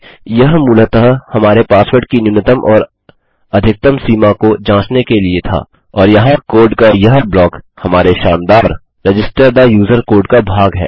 यह मूलतः हमारे पासवर्ड की न्यूनतम और अधिकतम सीमा को जाँचने के लिए था और यहाँ कोड का यह ब्लॉक हमारे शानदार रजिस्टर थे यूजर कोड का भाग है